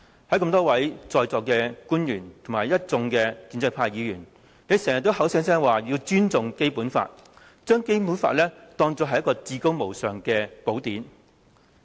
在座多位官員和一眾建制派議員經常口口聲聲說要尊重《基本法》，將《基本法》視為至高無上的寶典。